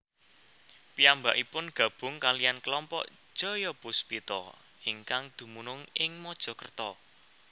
Piyambakipun gabung kaliyan kelompok Jayapuspita ingkang dumunung ing Mojokerto